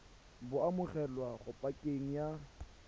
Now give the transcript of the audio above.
bo amogelwa mo pakeng ya